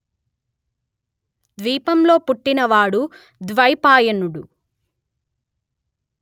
ద్వీపం లో పుట్టిన వాడు ద్వైపాయనుడు